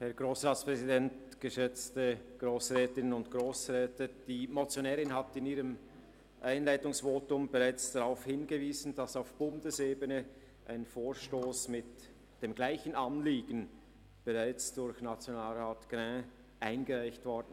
Die Motionärin hat in ihrem Einleitungsvotum bereits darauf hingewiesen, dass auf Bundesebene ein Vorstoss für das mit dem gleichen Anliegen bereits durch Nationalrat Grin eingereicht wurde.